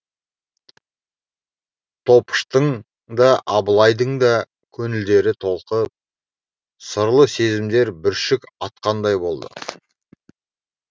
топыштың да абылайдың да көңілдері толқып сырлы сезімдер бүршік атқандай болады